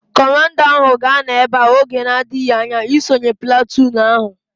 Kọmanda ahu ga-anọ ebea oge na-adịghị anya isonye platụụn ahu